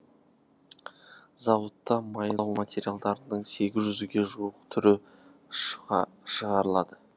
зауытта майлау материалдарының сегіз жүзге жуық түрі шығарылады